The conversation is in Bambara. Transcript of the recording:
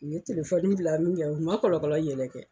U ye bila mun kɛ u ma kɔlɔlɔ yɛlɛ kɛ